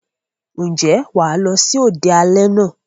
Ǹjẹ́ wà á lọ sí òde alẹ́ náà?